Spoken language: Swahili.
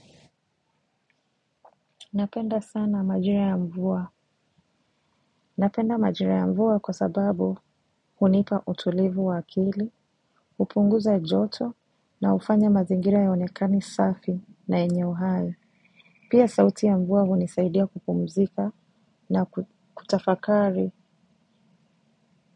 Napenda sana majira ya mvua. Napenda majira ya mvua kwa sababu hunipa utulivu wa akili, hupunguza joto na hufanya mazingira yaonekane safi na yenye uhai. Pia sauti ya mvua hunisaidia kupumzika na kutafakari.